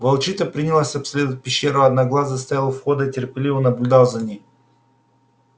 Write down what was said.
волчица принялась обследовать пещеру а одноглазый стоял у входа и терпеливо наблюдал за ней